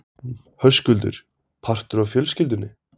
Höskuldur: Partur af fjölskyldunni?